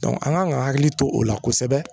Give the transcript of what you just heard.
an kan ka hakili to o la kosɛbɛ